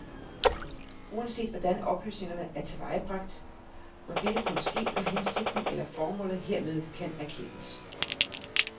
Uanset hvordan oplysningerne er tilvejebragt, må dette kun ske, når hensigten eller formålet hermed kan anerkendes.